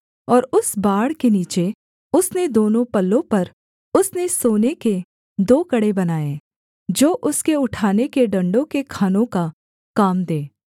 और उस बाड़ के नीचे उसके दोनों पल्लों पर उसने सोने के दो कड़े बनाए जो उसके उठाने के डण्डों के खानों का काम दें